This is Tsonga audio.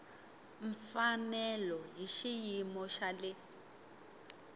mfanelo hi xiyimo xa le